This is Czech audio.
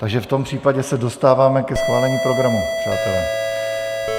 Takže v tom případě se dostáváme ke schválení programu, přátelé.